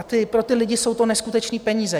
A pro ty lidi jsou to neskutečné peníze.